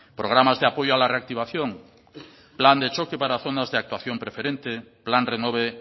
programas de apoyo a la reactivación plan de choque para zonas de actuación preferente plan renove